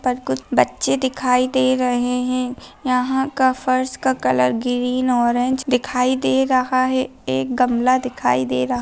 पर कुछ बच्चे दिखाई दे रहें हैं यहाँ का फर्श का कलर ग्रीन ऑरेंज दिखाई दे रहा है। एक गमला दिखाई दे रहा --